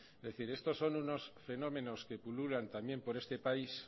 es decir estos son unos fenómenos que pululan también por este país